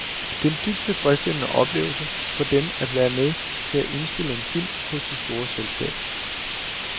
Det er en dybt tilfredsstillende oplevelse for dem at være med til at indspille en film hos det store selskab.